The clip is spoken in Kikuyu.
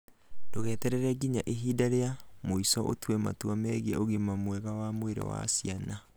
Ndũgeterere nginya ihinda rĩa mũico ũtue matua megiĩ ũgima mwega wa mwĩrĩ wa kũgĩa cĩana.